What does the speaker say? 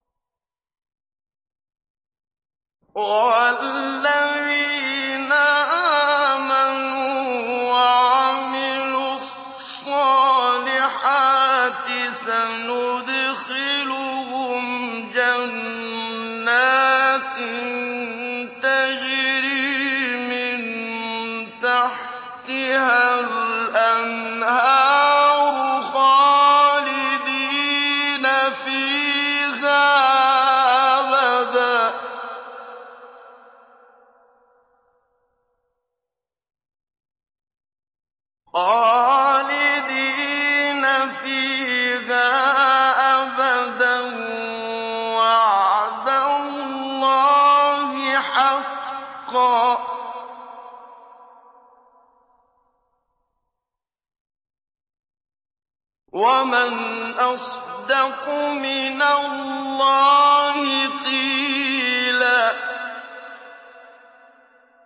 وَالَّذِينَ آمَنُوا وَعَمِلُوا الصَّالِحَاتِ سَنُدْخِلُهُمْ جَنَّاتٍ تَجْرِي مِن تَحْتِهَا الْأَنْهَارُ خَالِدِينَ فِيهَا أَبَدًا ۖ وَعْدَ اللَّهِ حَقًّا ۚ وَمَنْ أَصْدَقُ مِنَ اللَّهِ قِيلًا